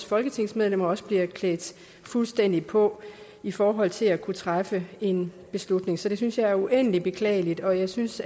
folketingsmedlemmer også bliver klædt fuldstændig på i forhold til at kunne træffe en beslutning så det synes jeg er uendelig beklageligt og jeg synes